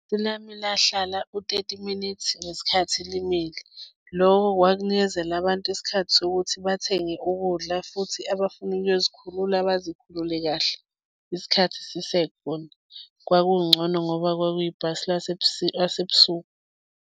Elami lahlala u-thirty minutes ngesikhathi limile. Loko kwakunikezela abantu isikhathi sokuthi bathenge ukudla futhi abafuna ukuyozikhulula, bazikhulule kahle isikhathi sisekhona. Kwakungcono ngoba kwakuyibhasi lasebusuku.